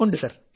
ഉണ്ട് സർ